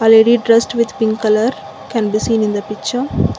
a lady dressed with pink colour can be seen in the picture.